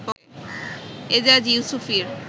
Ejaz ইউসুফীর